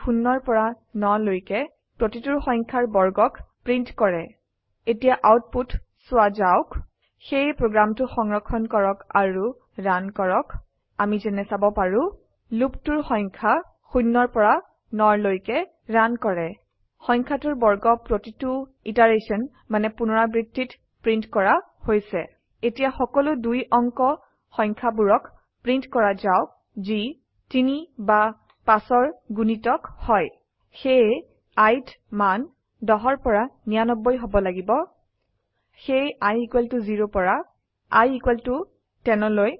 ই 0 পৰা 9 ৰ লৈকে প্ৰতিটোৰ সংখয়াৰ বৰ্গক প্ৰীন্ট কৰক এতিয়া আউটপুত চোৱা যাওক সেয়ে প্ৰগ্ৰামটো সংৰক্ষন কৰক আৰু ৰান কৰক অামি যেনে চাব পাৰো লুপটো সংখয়া ০ পৰা ৯ৰ লৈকে ৰান কৰে সংখয়াটোৰ বৰ্গ প্ৰতোটো পুনৰাবৃত্তিত প্ৰন্টীত কৰা হৈছে এতিয়া সকলো 2 অঙ্ক সংখ্যাবোৰক প্ৰিন্ট কৰা যাওক যি ৩ বা ৫ৰ গুণিতক হয় সেয়ে i ত মান 10 পৰা 99 হব লাগিব সেয়ে i ইকোৱেল ত 0 পৰা i ইকোৱেল ত 10